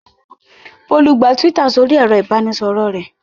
Bólú gba Twitter sórí ẹ̀rọ-ìbánisọ̀rọ̀ rẹ̀.